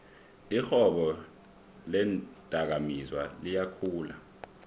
irhwebo leendakamizwa liyakhula